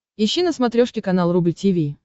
ищи на смотрешке канал рубль ти ви